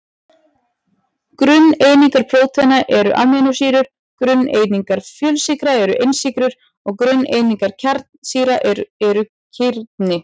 Grunneiningar prótína eru amínósýrur, grunneiningar fjölsykra eru einsykrur og grunneiningar kjarnasýra eru kirni.